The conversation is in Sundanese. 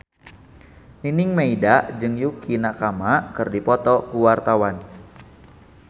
Nining Meida jeung Yukie Nakama keur dipoto ku wartawan